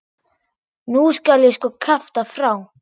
Nú skal ég sko kjafta frá!